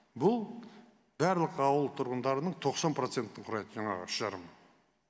бұл барлық ауыл тұрғандарының тоқсан процентін құрайды жаңағы үш жарымы